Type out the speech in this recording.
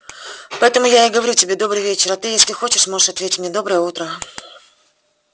поэтому я и говорю тебе добрый вечер а ты если хочешь можешь ответить мне доброе утро